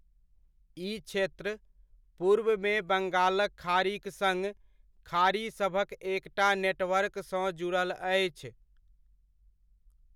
ई क्षेत्र पूर्वमे बंगालक खाड़ीक सङ्ग खाड़ीसभक एकटा नेटवर्कसँ जुड़ल अछि।